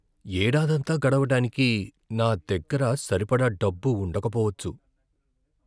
ఏడాదంతా గడవడానికి నా దగ్గర సరిపడా డబ్బు ఉండకపోవచ్చు.